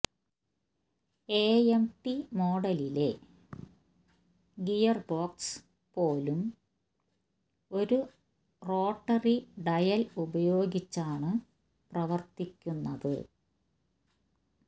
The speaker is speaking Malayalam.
എഎംടി മോഡലിലെ ഗിയർബോക്സ് പോലും ഒരു റോട്ടറി ഡയൽ ഉപയോഗിച്ചാണ് പ്രവർത്തിക്കുന്നത്